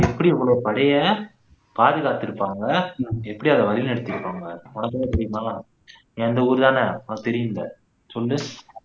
எப்படி இவ்வளோ படைய பாதுகாத்துருப்பாங்க எப்படி அதை வழி நடத்தி இருப்பாங்க உனக்கு ஏதும் தெரியுமா நீ அந்த ஊரு தானே உனக்கு தெரியும்ல சொல்லு